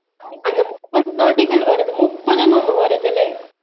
அந்த முப்பது நொடிகள் வருது முப்பதுனு ஒண்ணு வருதுல